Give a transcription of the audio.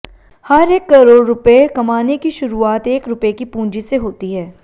हर एक करोड़ रुपए कमाने की शुरुआत एक रुपए की पूंजी से होती है